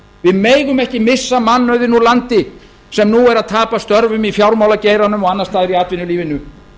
við megum ekki missa mannauðinn úr landi sem nú er að tapa störfum í fjármálageiranum og annars staðar í atvinnulífinu